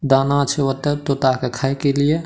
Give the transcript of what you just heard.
दाना छै ओता तोता के खाय के लिए।